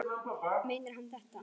Meinar hann þetta?